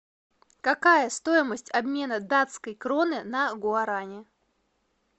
какая стоимость обмена датской кроны на гуарани